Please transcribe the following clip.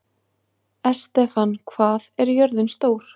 Estefan, hvað er jörðin stór?